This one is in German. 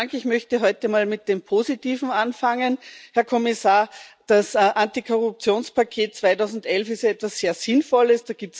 Ich möchte heute mal mit dem Positiven anfangen. Herr Kommissar, das Antikorruptionspaket 2011 ist etwas sehr Sinnvolles.